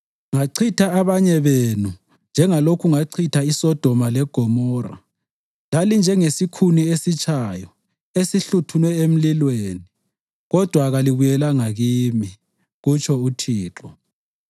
“Ngachitha abanye benu njengalokhu ngachitha iSodoma leGomora. Lalinjengesikhuni esitshayo esihluthunwe emlilweni, kodwa kalibuyelanga kimi,” kutsho uThixo.